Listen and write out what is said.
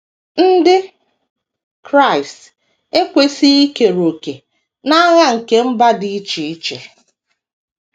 Ndị Kraịst ekwesịghị ikere òkè n’agha nke mba dị iche iche.